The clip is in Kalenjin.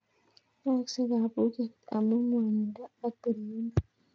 Yaakse kapuket amu ng'wanindo ak piririndo